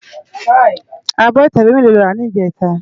Ábò itèwé mèló ló rá nijètá?